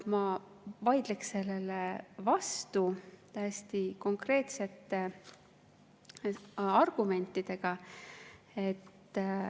Ma vaidleks sellele vastu täiesti konkreetsete argumentidega.